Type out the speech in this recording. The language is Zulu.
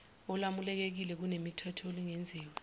olwamukelekile nokunemithetho olungenziwa